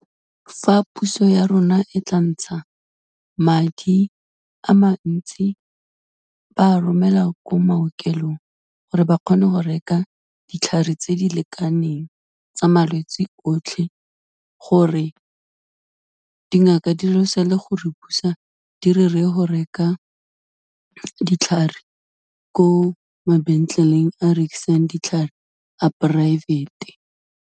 Fa puso ya rona e tla ntsha madi a mantsi ba romela ko maokelong, gore ba kgone go reka ditlhare tse di lekaneng tsa malwetsi otlhe, gore dingaka di re se le gore busa di re, reye go reka ditlhare ko mabentleleng a rekisang ditlhare a poraefete.